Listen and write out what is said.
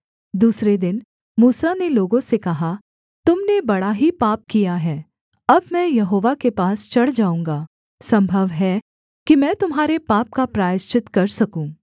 दूसरे दिन मूसा ने लोगों से कहा तुम ने बड़ा ही पाप किया है अब मैं यहोवा के पास चढ़ जाऊँगा सम्भव है कि मैं तुम्हारे पाप का प्रायश्चित कर सकूँ